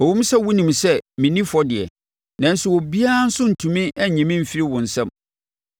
Ɛwom sɛ wonim sɛ menni fɔ deɛ, nanso obiara nso rentumi nnye me mfiri wo nsam.